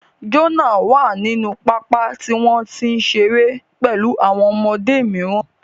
Jonah wà nínú pápá tí wọ́n ń ṣeré pẹ̀lú àwọn ọmọdé mìíràn